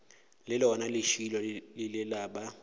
le lona lešilo lela ba